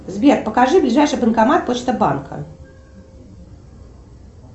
сбер покажи ближайший банкомат почта банка